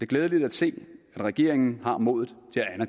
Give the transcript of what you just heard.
glædeligt at se at regeringen har modet